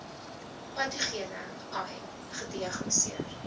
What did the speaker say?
patogene ai gediagnoseer